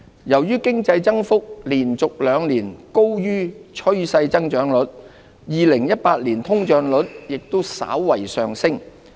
由於經濟增幅連續兩年高於趨勢增長率 ，2018 年通脹率也稍為上升。